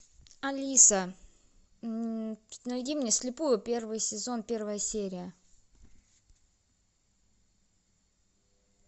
алиса найди мне слепую первый сезон первая серия